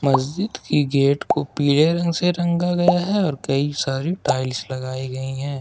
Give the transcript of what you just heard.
मस्जिद की गेट को पीले रंग से रंगा गया है और कई सारी टाइल्स लगाई गई हैं।